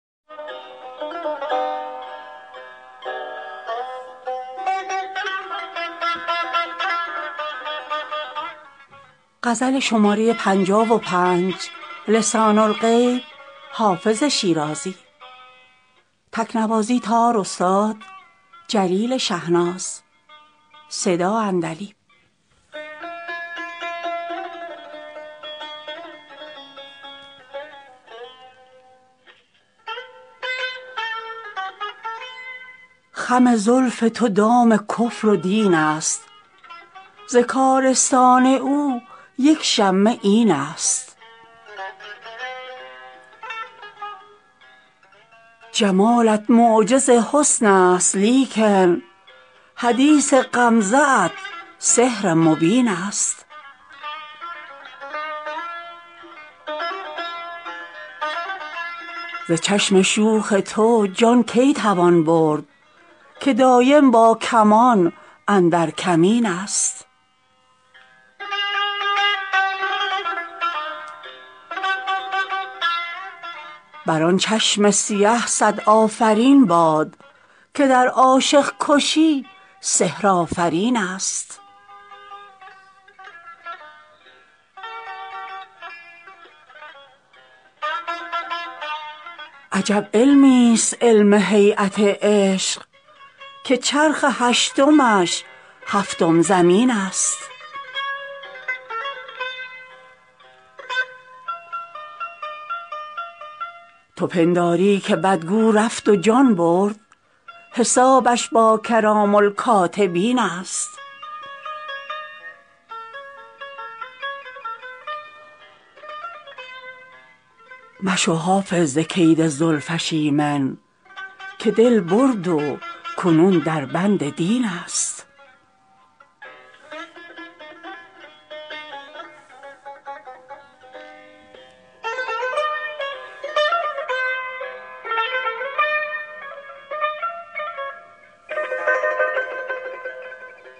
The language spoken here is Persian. خم زلف تو دام کفر و دین است ز کارستان او یک شمه این است جمالت معجز حسن است لیکن حدیث غمزه ات سحر مبین است ز چشم شوخ تو جان کی توان برد که دایم با کمان اندر کمین است بر آن چشم سیه صد آفرین باد که در عاشق کشی سحرآفرین است عجب علمیست علم هییت عشق که چرخ هشتمش هفتم زمین است تو پنداری که بدگو رفت و جان برد حسابش با کرام الکاتبین است مشو حافظ ز کید زلفش ایمن که دل برد و کنون در بند دین است